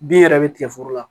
Bin yɛrɛ bɛ tigɛ foro la